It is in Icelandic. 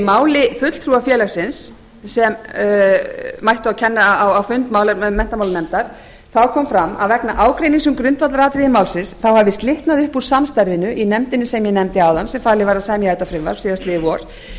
máli fulltrúa félagsins sem mætti á fund menntamálanefndar kom fram að vegna ágreinings um grundvallaratriði málsins hafi slitnað upp úr samstarfinu í nefndinni sem ég nefndi áðan sem falið var að semja þetta frumvarp síðastliðið vor og þá var